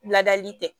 Ladali tɛ